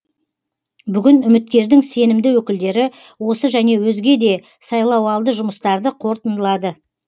бүгін үміткердің сенімді өкілдері осы және өзге де сайлауалды жұмыстарды қорытындылады